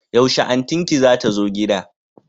Yaushe antin ki zata zo gida?